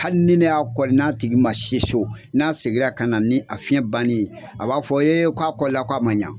Hali ni ne y'a kɔri n'a tigi ma se so n'a seginna ka na ni a fiɲɛ bannen ye a b'a fɔ yee k'a kɔli la k'a ma ɲa